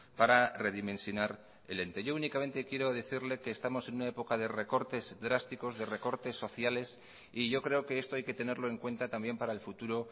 para redimensionar el ente yo únicamente quiero decirle que estamos en una época de recortes drásticos de recortes sociales y yo creo que esto hay que tenerlo en cuenta también para el futuro